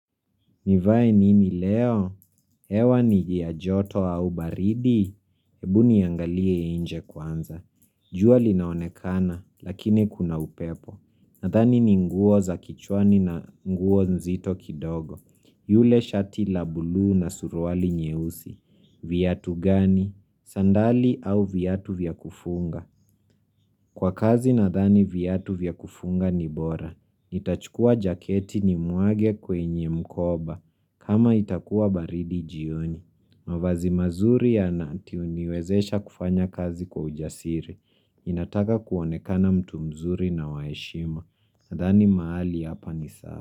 Nivae nini leo? Hewa ni ya joto au baridi? Hebu niangalie nje kwanza. Jua linaonekana, lakini kuna upepo. Nathani ni nguo za kichwani na nguo nzito kidogo. Yule shati la buluu na suruali nyeusi. Viatu gani? Sandali au viatu vyakufunga? Kwa kazi nadhani viatu vyakufunga ni bora. Nitachukuwa jaketi ni mwage kwenye mkoba. Kama itakuwa baridi jioni. Mavazi mazuri ya nati niwezesha kufanya kazi kwa ujasiri. Ninataka kuonekana mtu mzuri na waheshima. Nadhani mahali hapa ni sawa.